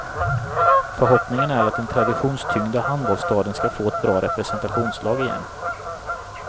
Förhoppningen är att den traditionstyngda handbollsstaden skall få ett bra representationslag igen.